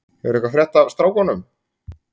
Hefurðu eitthvað frétt af strákunum?